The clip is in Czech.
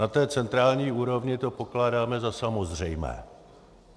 Na té centrální úrovni to pokládáme za samozřejmé.